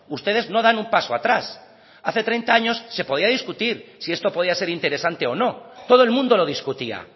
ustedes no dan un paso atrás hace treinta años se podía discutir si esto podía ser interesante o no todo el mundo lo discutía